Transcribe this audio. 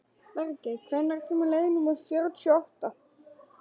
Bergey, hvenær kemur leið númer fjörutíu og átta?